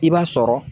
I b'a sɔrɔ